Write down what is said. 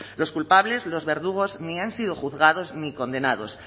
los culpables los verdugos ni han sido juzgados ni condenados